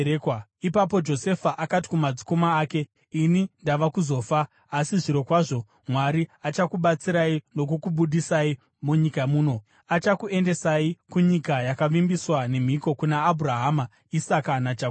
Ipapo Josefa akati kumadzikoma ake, “Ini ndava kuzofa. Asi zvirokwazvo Mwari achakubatsirai nokukubudisai munyika muno achikuendesai kunyika yakavimbiswa nemhiko kuna Abhurahama, Isaka naJakobho.”